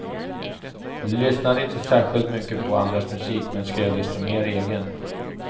Lyssnade inte särsklit mycket på andras musik men skrev desto mer egen.